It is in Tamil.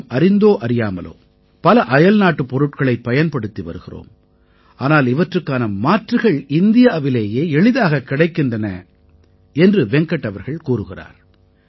நாம் அறிந்தோ அறியாமலோ பல அயல்நாட்டுப் பொருட்களைப் பயன்படுத்தி வருகிறோம் ஆனால் இவற்றுக்கான மாற்றுகள் இந்தியாவிலேயே எளிதாகக் கிடைக்கின்றன என்று வெங்கட் அவர்கள் கூறுகிறார்